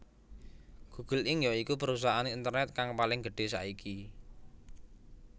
Google Inc ya iku perusahaan internet kang paling gedhé saiki